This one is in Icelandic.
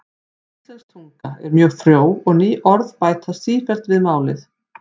Íslensk tunga er mjög frjó og ný orð bætast sífellt við málið.